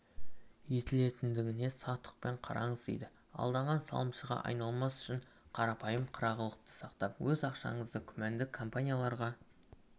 етілетіндігіне сақтықпен қараңыз дейді алданған салымшыға айналмас үшін қарапайым қырағылықты сақтап өз ақшаңызды күмәнді компанияларға